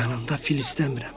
Yanında fil istəmirəm.